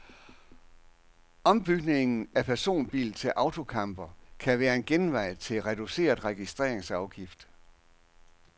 Ombygning af personbil til autocamper kan være en genvej til reduceret registreringsafgift.